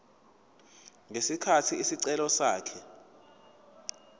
ngesikhathi isicelo sakhe